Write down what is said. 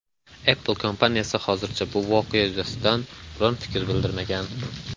Apple kompaniyasi hozircha bu voqea yuzasidan biron fikr bildirmagan.